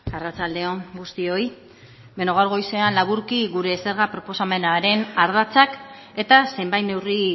arratsalde on guztioi beno gaur goizean laburki gure zerga proposamenaren ardatzak eta zenbait neurri